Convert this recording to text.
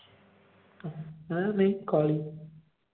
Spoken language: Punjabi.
ਹੈ ਨਹੀਂ ਕਾਲੀ।